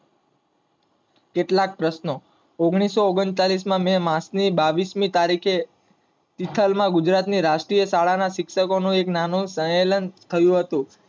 કેટલાક પ્રશ્નો. ઓગણીસો ઓગણચાલીસ માં મેં માર્ચ ની બાવીસ ની તારીખે વિશાલ માં ગુજરાત ની રાષ્ટ્રીય શાળા ના શિક્ષકો નો એક નાનો સંમેલન થયો હતો